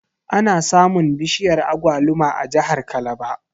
Ana samun bishiyar Agwaluma a jahar kalaba